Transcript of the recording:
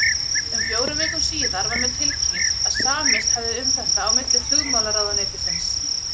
Um fjórum vikum síðar var mér tilkynnt, að samist hefði um þetta á milli flugmálaráðuneytisins